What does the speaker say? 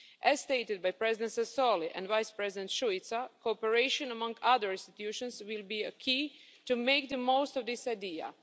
As stated by President Sassoli and Vice-President Šuica, cooperation among other institutions will be key to making the most of this idea.